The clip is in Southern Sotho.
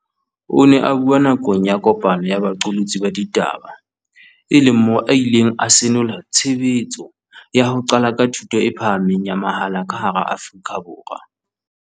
O ne a bua nakong ya kopano ya baqolotsi ba ditaba e leng moo a ileng a senola tshebetso ya ho qala ka thuto e phahameng ya mahala ka hara Afrika Borwa.